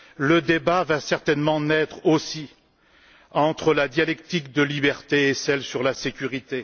Le débat va certainement naître aussi entre la dialectique de liberté et celle de la sécurité.